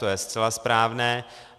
To je zcela správné.